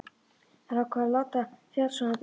Þær ákváðu að láta fjársjóðinn bíða.